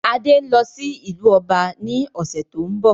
Adé ń lọ sí ìlú ọba ní ọ̀sẹ̀ tó ń bọ̀